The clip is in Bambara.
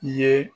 I ye